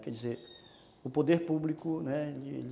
Quer dizer, o poder público, né?